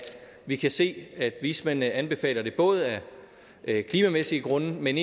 vi kan se at vismændene anbefaler det af klimamæssige grunde men